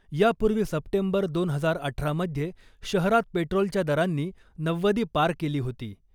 यापूर्वी सप्टेंबर दोन हजार अठरामध्ये शहरात पेट्रोलच्या दरांनी नव्वदी पार केली होती .